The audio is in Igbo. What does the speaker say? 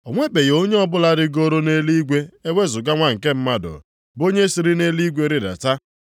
O nwebeghị onye ọbụla rigooro nʼeluigwe ewezuga Nwa nke Mmadụ bụ onye siri nʼeluigwe rịdata.